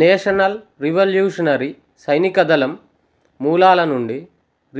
national revolutionary సైనికదళం మూలాల నుండి